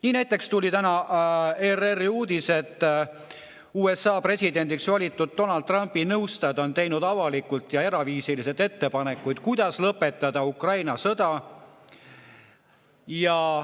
Nii näiteks tuli täna ERR-i uudis, et USA presidendiks valitud Donald Trumpi nõustajad on teinud avalikult ja eraviisiliselt ettepanekuid, kuidas lõpetada Ukraina sõda.